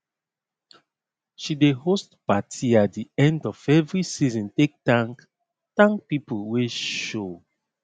she dey host paty at the end of every season take thank thank people wey show